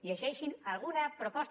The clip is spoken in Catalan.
llegeixin alguna proposta